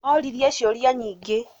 Oririe ciũria nyingĩ